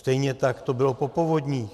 Stejně tak to bylo po povodních.